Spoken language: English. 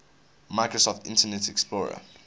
microsoft internet explorer